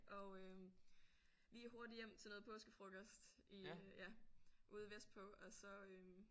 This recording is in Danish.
Og øh lige hurtigt hjem til noget påskefrokost i øh ja ude vestpå og så